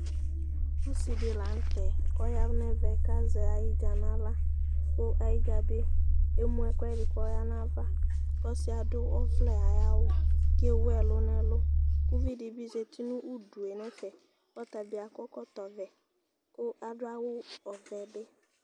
Ɔsi di la ŋtɛ kɔ ya nɛ ʋɛ ka zɛ ayidja na aɣla ku ayidja bi ému ɛkuɛ di kɔ ya na ava Kɔ ɔsiɛ adu ɔʋlɛ ayi awu, ké wu ɛlu nɛ ɛlu ku uʋidibi zati nu udué nɛ ƒɛ, ɔtabi akɔ ɛkɔtɔ ʋɛ ku adu awu ɔʋɛ bi